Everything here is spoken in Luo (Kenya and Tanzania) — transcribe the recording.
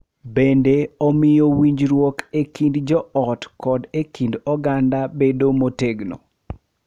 Bende, omiyo winjruok e kind joot kod e kind oganda bedo motegno,...